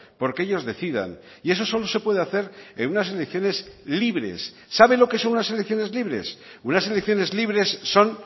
porque ellos decidan y eso solo se puede hacer en unas elecciones libres sabe lo que son unas elecciones libres unas elecciones libres son